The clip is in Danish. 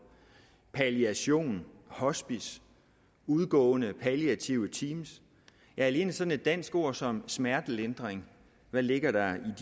af palliation hospice udgående palliative teams ja alene sådan et dansk ord som smertelindring hvad ligger der